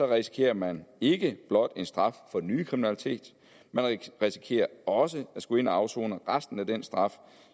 risikerer man ikke blot en straf for den nye kriminalitet man risikerer også at skulle ind og afsone resten af den straf